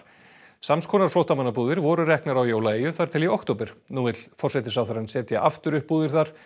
sams konar flóttamannabúðir voru reknar á þar til í október nú vill forsætisráðherrann setja aftur upp búðir þar